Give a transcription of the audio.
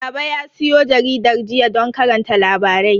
Baba ya siyo jaridar jiya don karanta labarai.